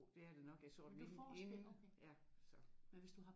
Jo det er det nok. Jeg sår mine inde